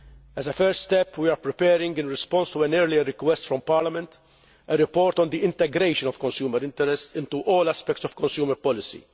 As a first step, we are preparing, in response to an earlier request from Parliament, a report on the integration of consumer interests into all aspects of consumer policy.